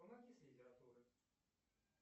помоги с литературой